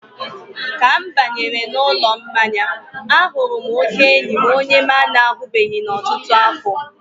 ka m banyere n'ụlọ mmanya, a hụrụ oke enyi m onye m na-ahụbeghị n'ọtụtụ afọ.